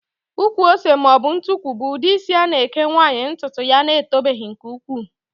Ụkwụ ose maọbụ ntukwu bụ ụdị isi a na-eke nwaanyị ntụtụ ya etobeghị nke ukwuu